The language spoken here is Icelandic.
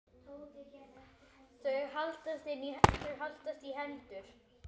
Þau haldast í hendur.